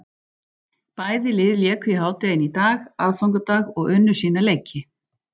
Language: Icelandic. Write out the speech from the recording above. Bæði lið léku í hádeginu í dag, aðfangadag, og unnu sína leiki.